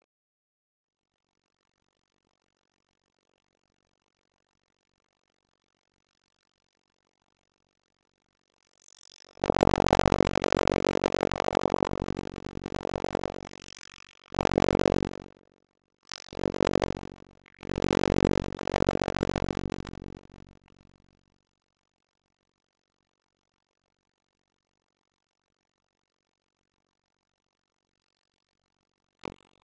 Þar er amma fædd og býr enn.